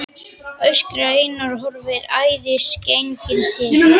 öskrar Einar og horfir æðisgenginn til